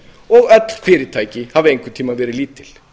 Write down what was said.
og öll fyrirtæki hafa einhvern tímann verið lítil